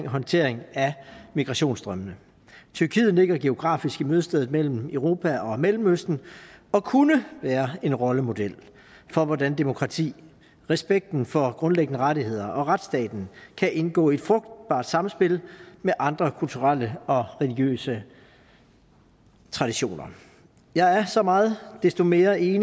håndtering af migrationsstrømmene tyrkiet ligger geografisk i mødestedet mellem europa og mellemøsten og kunne være en rollemodel for hvordan demokrati respekten for grundlæggende rettigheder og retsstaten kan indgå i et frugtbart samspil med andre kulturelle og religiøse traditioner jeg er så meget desto mere enig